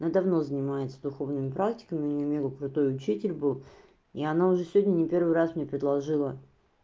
она давно занимается духовными практиками у неё мега крутой учитель был и она уже сегодня не первый раз мне предложила